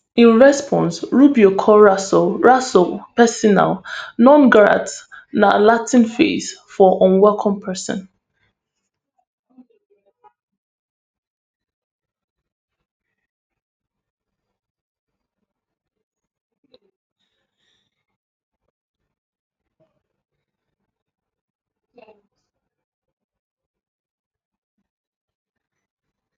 in response rubio call rasool rasool persona non grata na latin phrase for unwelcome pesin